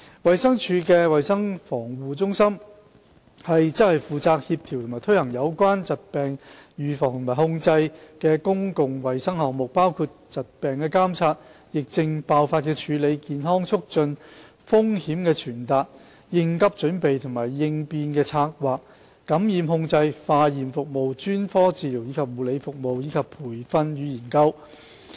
衞生署的衞生防護中心負責協調和推行有關疾病預防及控制的公共衞生項目，包括疾病監測、疫症爆發處理、健康促進、風險傳達、應急準備及應變策劃、感染控制、化驗服務、專科治療及護理服務，以及培訓與研究。